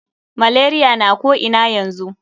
Malaria na ko ina yanzu.